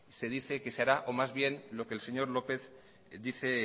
se dice que se hará o más bien lo que el señor lópez dice